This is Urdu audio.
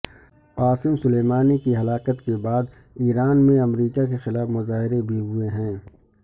قاسم سلیمانی کی ہلاکت کے بعد ایران میں امریکہ کے خلاف مظاہرے بھی ہوئے ہیں